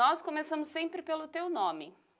Nós começamos sempre pelo teu nome.